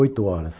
Oito horas.